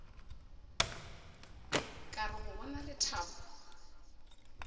ka re go bona lethabo